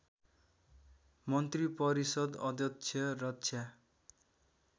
मन्त्रिपरिषद् अध्यक्ष रक्षा